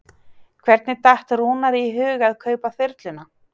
Hvernig datt Rúnari í hug að kaupa þyrluna?